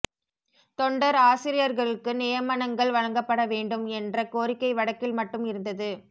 தொண்டர் ஆசிரியர்களுக்கு நியமனங்கள் வழங்கப்பட வேண்டும் என்ற கோரிக்கை வடக்கில் மட்டும் இருந்தது